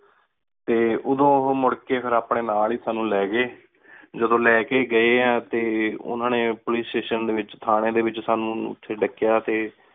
T ਓਹ੍ਦੁ ਮੁਰਰ ਕ ਫੇਰ ਸਾਨੂ ਅਪਨੀ ਨਾਲ ਏ ਲੀ ਗਏ ਜਦੋਂ ਲੀ ਕ ਗਏ ਟੀ ਓਹਨਾ ਨੀ ਪੋਲਿਕੇ ਸ੍ਤਾਤਿਓਂ ਡੀ ਵਿਚ ਠਾਨੀ ਡੀ ਵਿਚ ਸਾਨੂ ਓਥੀ ਡਾਕ੍ਯ ਟੀ